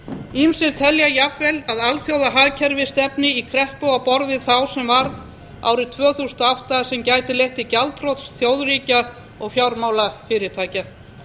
ýmsir telja jafnvel að alþjóðahagkerfið stefni í kreppu á borð við þá sem varð árið tvö þúsund og átta sem gæti leitt til gjaldþrots þjóðríkja og fjármálafyrirtækja